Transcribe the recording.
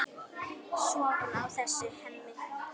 Sofum á þessu, Hemmi.